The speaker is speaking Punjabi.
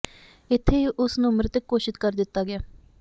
ਇੱਥੇ ਹੀ ਉਸ ਨੂੰ ਮ੍ਰਿਤਕ ਘੋਸ਼ਿਤ ਕਰ ਦਿੱਤਾ ਗਿਆ